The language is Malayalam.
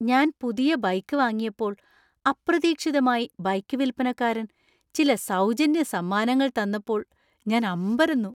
ഞാൻ പുതിയ ബൈക്ക് വാങ്ങിയപ്പോൾ അപ്രതീക്ഷിതമായി ബൈക്ക് വിൽപ്പനക്കാരൻ ചില സൗജന്യ സമ്മാനങ്ങൾ തന്നപ്പോൾ ഞാൻ അമ്പരന്നു.